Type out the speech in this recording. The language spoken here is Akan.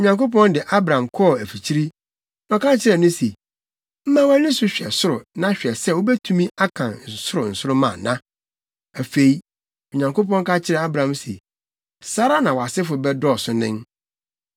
Onyankopɔn de Abram kɔɔ afikyiri, na ɔka kyerɛɛ no se, “Ma wʼani so hwɛ soro na hwɛ sɛ wubetumi akan soro nsoromma ana.” Afei, Onyankopɔn ka kyerɛɛ Abram se, “Saa ara na wʼasefo bɛdɔɔso nen.”